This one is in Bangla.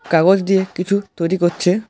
কাগজ দিয়ে কিছু তৈরি করছে।